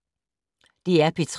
DR P3